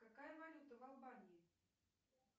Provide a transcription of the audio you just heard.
какая валюта в албании